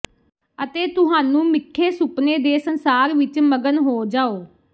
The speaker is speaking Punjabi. ਅਤੇ ਤੁਹਾਨੂੰ ਮਿੱਠੇ ਸੁਪਨੇ ਦੇ ਸੰਸਾਰ ਵਿੱਚ ਮਗਨ ਹੋ ਜਾਉ